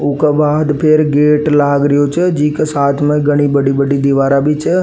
ऊ का बाद फिर गेट लाग रियो छे जी के साथ में घनी बड़ी बड़ी दिवारा भी छ।